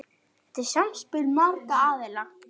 Þetta er samspil margra aðila.